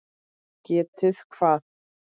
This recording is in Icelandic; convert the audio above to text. Getið hvað?